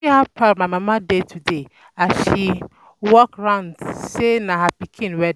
I see how proud my mama dey today as she dey um walk around say na her pikin wedding